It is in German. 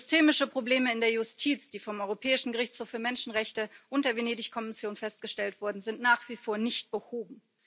Systemische Probleme in der Justiz, die vom Europäischen Gerichtshof für Menschenrechte und der Venedig Kommission festgestellt wurden, sind nach wie vor nicht behoben.